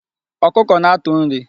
Ọkụkọ na-atụ nri.